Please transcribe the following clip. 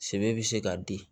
Sɛbɛ bɛ se ka di